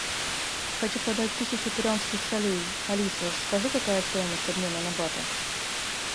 хочу продать тысячу перуанских солей алиса скажи какая стоимость обмена на баты